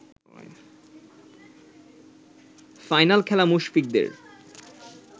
final খেলা মুশফিকদের